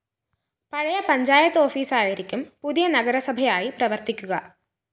പഴയപഞ്ചായത്ത് ഓഫീസായിരിക്കും പുതിയ നഗരസഭയായി പ്രവര്‍ത്തിക്കുക